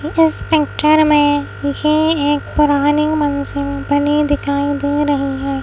इस पिक्चर में ये एक पुरानी मंजिल बनी दिखाई दे रही है।